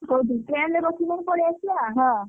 କହୁଥିଲି train ରେ ବସିକି ନହେଲେ ପଳେଇଆସିବା ।